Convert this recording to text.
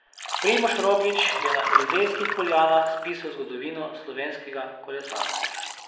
Primož Roglič je na Elizejskih poljanah spisal zgodovino slovenskega kolesarstva.